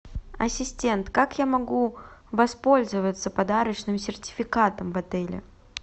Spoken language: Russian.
ассистент как я могу воспользоваться подарочным сертификатом в отеле